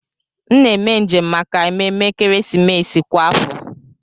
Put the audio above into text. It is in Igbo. M na eme njem maka ememe ekeresimesi kwa afọ